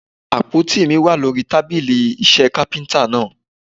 Àpótí mi wà lórí tábílì iṣẹ́ Kápẹ́ńtà náà.